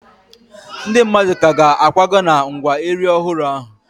Ndị mmadụ ka ga-akwaga na ngwa Eri ọhụrụ ahụ.